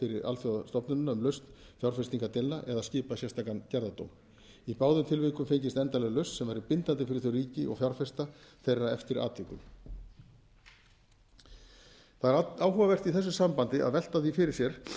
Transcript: alþjóðastofnunina um lausn fjárfestingardeilna eða skipað sérstakan gerðardóm í báðum tilvikum fengist endanleg lausn sem væri bindandi fyrir þau ríki og fjárfesta þeirra eftir atvikum það er áhugavert í þessu sambandi að velta því fyrir sér